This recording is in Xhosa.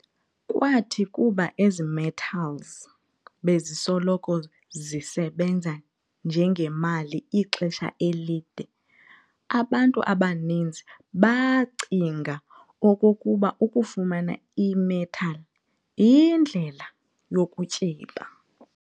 Kwathi kuba ezi-metals bezisoloko zisebanza njengemali ixesha elide, abantu abaninzi baacinga okokuba ukufumana i-metal yindlela yokutyeba.